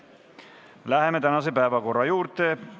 Läheme tänaste päevakorrapunktide menetlemise juurde.